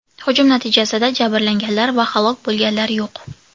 Hujum natijasida jabrlanganlar va halok bo‘lganlar yo‘q.